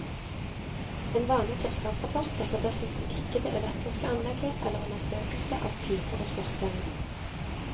En vanlig tilstandsrapport dekker dessuten ikke det elektriske anlegget eller undersøkelse av piper og skorstener.